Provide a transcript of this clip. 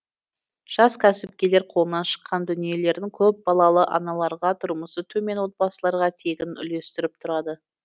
жас кәсіпкерлер қолынан шыққан дүниелерін көпбалалы аналарға тұрмысы төмен отбасыларға тегін үлестіріп тұрады